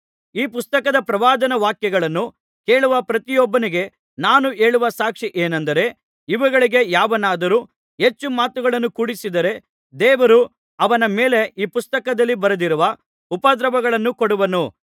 ಈ ಪುಸ್ತಕದ ಪ್ರವಾದನಾ ವಾಕ್ಯಗಳನ್ನು ಕೇಳುವ ಪ್ರತಿಯೊಬ್ಬನಿಗೆ ನಾನು ಹೇಳುವ ಸಾಕ್ಷಿ ಏನೆಂದರೆ ಇವುಗಳಿಗೆ ಯಾವನಾದರೂ ಹೆಚ್ಚು ಮಾತುಗಳನ್ನು ಕೂಡಿಸಿದರೆ ದೇವರು ಅವನ ಮೇಲೆ ಈ ಪುಸ್ತಕದಲ್ಲಿ ಬರೆದಿರುವ ಉಪದ್ರವಗಳನ್ನು ಕೊಡುವನು